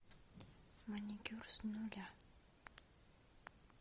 маникюр с нуля